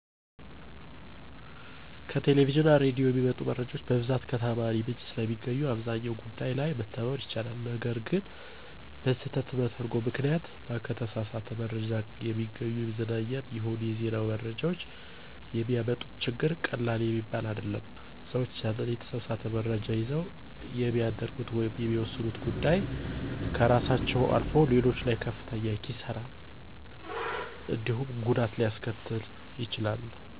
ከቴሌቪዥን እና ሬዲዮ የሚመጡ መረጃዎች በብዛት ከተዓማኒ ምንጭ ስለሚገኙ አብዛኛው ጉዳይ ላይ መተማመን ይቻላል። ነገር ግን በስህተት መተርጐም ምክንያት እና ከተሳሳት መረጃ የሚገኙ የመዝናኛም ይሁን የዜና መረጃዎች የሚያመጡት ችግር ቀላል የሚባል አይደለም። ሰዎች ያንን የተሳሳት መረጃ ይዘው የሚያደርጉት ወይም የሚወስኑት ጉዳይ ከራሳቸው አልፎ ሌሎች ላይም ከፍተኛ የሆነ ኪሣራ እንዲሁም ጉዳት ሊያስከትሉ ይችላሉ።